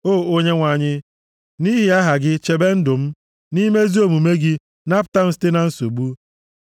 O Onyenwe anyị, nʼihi aha gị chebe ndụ m; nʼime ezi omume gị, napụta m site na nsogbu.